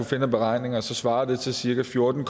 finde af beregninger svarer det til cirka fjorten